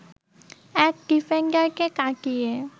এক ডিফেন্ডারকে কাটিয়ে